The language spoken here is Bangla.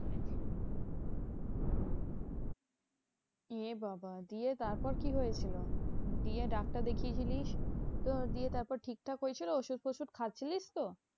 এ বাবা দিয়ে তারপর কি হয়েছিল? দিয়ে ডাক্তার দেখিয়েছিলিস তো, দিয়ে তারপর ঠিকঠাক হয়েছিল? ওষুধ টষুধ খাচ্ছিলিস তো?